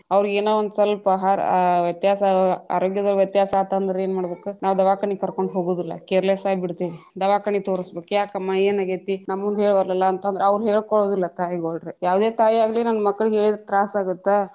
ಅವ್ರಿಗೆ ಏನೋ ಒಂದ್ ಸ್ವಲ್ಪ ಆಹಾರ ವ್ಯತ್ಯಾಸ ಆರೋಗ್ಯದಾಗ ವ್ಯತ್ಯಾಸ ಆತಂದ್ರ ಏನ್ ಮಾಡ್ಬೇಕ್ ನಾವ್ ದವಾಖಾನೆ ಕರ್ಕೊಂಡ್ ಹೋಗುದಿಲ್ಲಾ careless ಆಗ್ಬಿಡ್ತೇವಿ ದವಾಖಾನೆ ತೊರಸಬೇಕ ಯಾಕಮ್ಮಾ ಯೇನಾಗೇತಿ ನಮ್ಮ ಮುಂದ ಹೆಳವಲ್ಲಿಯಲ್ಲಾ ಅಂತಂದ್ರ ಅವ್ರು ಹೇಳಕೊಳ್ಳುದಿಲ್ಲಾ ತಾಯಿಗೋಳ್ರೀ ಯಾವುದೆ ತಾಯಿಯಾಗಲಿ ತನ್ನ ಮಕ್ಕಳಿಗ ಹೇಳಿದ್ರ ತ್ರಾಸ ಆಗತ್ತ.